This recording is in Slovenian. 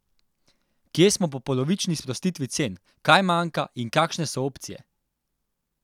Kje smo po polovični sprostitvi cen, kaj manjka in kakšne so opcije?